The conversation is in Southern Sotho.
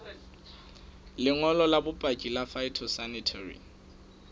lengolo la bopaki la phytosanitary